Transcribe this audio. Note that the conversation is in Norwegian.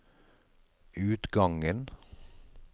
utgangen